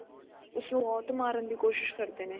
ਉਸਨੂੰ ਬਹੁਤ ਮਾਰਨ ਦੀ ਕੋਸ਼ਿਸ਼ ਕਰਦੇ ਨੇ